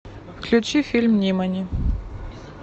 включи фильм нимани